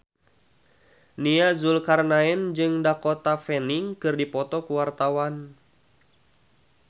Nia Zulkarnaen jeung Dakota Fanning keur dipoto ku wartawan